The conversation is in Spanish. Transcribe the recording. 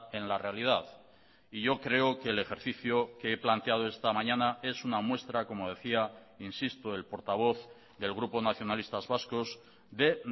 en la realidad y yo creo que el ejercicio que he planteado esta mañana es una muestra como decía insisto el portavoz del grupo nacionalistas vascos de